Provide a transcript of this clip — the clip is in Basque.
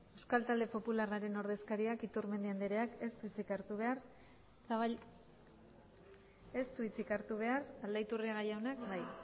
euskal talde popularraren ordezkariak iturmendi andreak ez du hitzik hartu behar aldaiturriaga jaunak bai